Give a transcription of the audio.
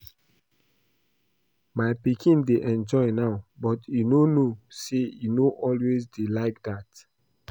My pikin dey enjoy now but e no know say e no always dey like dat